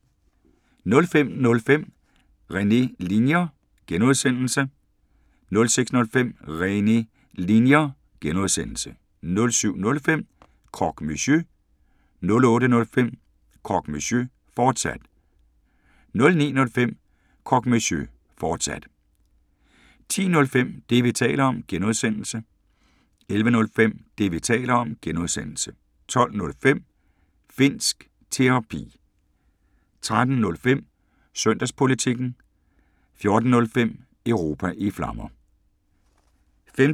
05:05: René Linjer (G) 06:05: René Linjer (G) 07:05: Croque Monsieur 08:05: Croque Monsieur, fortsat 09:05: Croque Monsieur, fortsat 10:05: Det, vi taler om (G) 11:05: Det, vi taler om (G) 12:05: Finnsk Terapi 13:05: Søndagspolitikken 14:05: Europa i Flammer